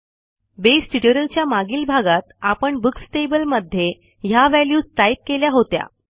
बसे ट्युटोरियलच्या मागील भागात आपण बुक्स टेबल मध्ये ह्या व्हॅल्यूज टाईप केल्या होत्या